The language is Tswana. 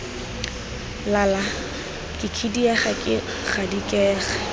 lala ke khidiega ke gadikega